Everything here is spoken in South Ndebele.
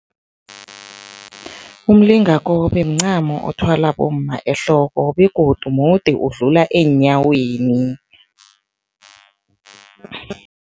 Umlingakobe mncamo othwalwa bomma ehloko begodu mude, udlula eenyaweni.